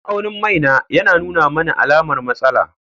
Ma'aunin mai na yana nuna mani alamar matsala.